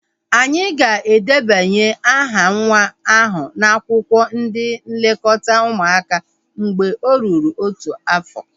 Anyị ga-edebanye aha nwa ahu n'akwụkwọ ndị nlekọta ụmụaka mgbe o ruru otu afọ